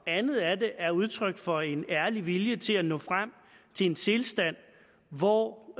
andet af det er udtryk for en ærlig vilje til at nå frem til en tilstand hvor